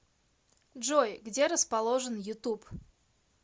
джой где расположен ютуб